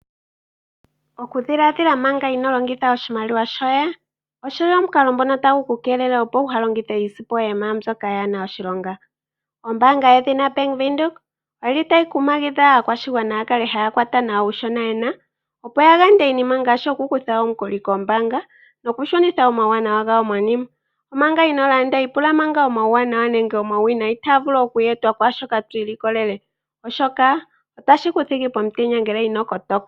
Okudhilaadhila manga ino longitha oshimaliwa shoye, oshili omukalo ngono tagu ku keelele, opo wu ha longithe yaana iisimpo yoye miinima mbyoka yaana oshilonga. Ombaanga yedhina Bank Windhoek oyili tayi kumagidha aakwashigwana ya kale haya kwata nawa uushona yena, opo ga yande iinima ngaashi oku kutha omukuli kombaanga noku shunitha omauwanawa gawo monima. Omanga inoo landa ipula manga omauwanawa nenge omauwinayi taga vulu oku etwa kwaashoka to ilikolele, oshoka otashi ku thigi pomutenya ngele ino kotoka.